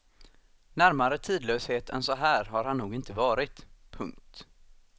Närmare tidlöshet än så här har han nog inte varit. punkt